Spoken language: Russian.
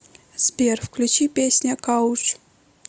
сбер включи песня кауч